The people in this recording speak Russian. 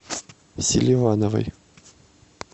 селивановой